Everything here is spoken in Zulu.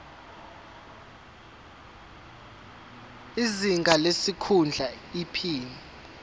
izinga lesikhundla iphini